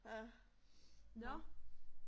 Ja. Nåh